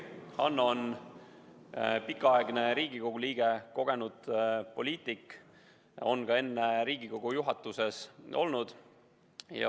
Hanno on pikaaegne Riigikogu liige ja kogenud poliitik, ta on ka enne Riigikogu juhatuses olnud.